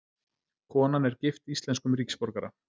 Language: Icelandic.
Konan er gift íslenskum ríkisborgara